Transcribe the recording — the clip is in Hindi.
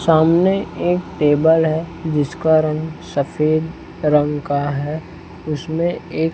सामने एक टेबल है जिसका रंग सफेद रंग का है उसमें एक--